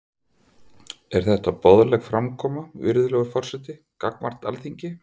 Er þetta boðleg framkoma, virðulegur forseti, gagnvart Alþingi?